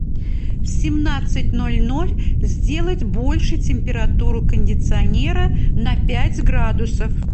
в семнадцать ноль ноль сделать больше температуру кондиционера на пять градусов